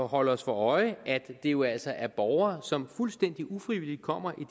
holde os for øje at det jo altså er borgere som fuldstændig ufrivilligt kommer